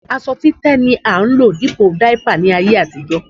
Aṣọ títẹ́ ni a ń lò dípò dáípà ní ayé àtijó